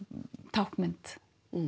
táknmynd